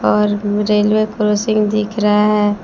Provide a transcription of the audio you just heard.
और railway crossing दिख रहा है।